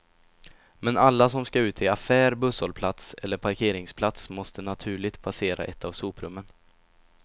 Men alla som skall ut till affär, busshållplats eller parkeringsplats måste naturligt passera ett av soprummen.